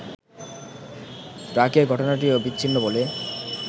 ব্র্যাকের ঘটনাটিও বিচ্ছিন্ন বলে